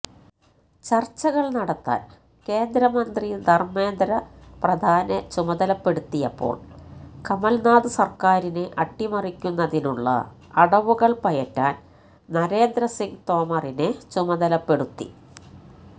ചർച്ചകൾ നടത്താൻ കേന്ദ്രമന്ത്രി ധർമേന്ദ്ര പ്രധാനെ ചുമതലപ്പെടുത്തിയപ്പോൾ കമൽനാഥ് സർക്കാരിനെ അട്ടിമറിക്കുന്നതിനുള്ള അടവുകൾ പയറ്റാൻ നരേന്ദ്ര സിങ് തോമറിനെ ചുമതലപ്പെടുത്തി